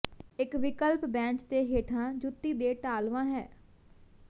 ਇੱਕ ਵਿਕਲਪ ਬੈਂਚ ਦੇ ਹੇਠਾਂ ਜੁੱਤੀ ਦੇ ਢਾਲਵਾਂ ਹੈ